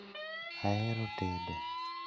Ahero tedo